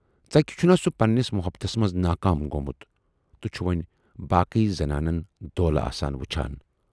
ژکہِ چھُنا سُہ پنہٕ نِس محبتس منز ناکام گومُت تہٕ چھُ وۅنۍ باقی زنانن دولہٕ آسن وُچھان۔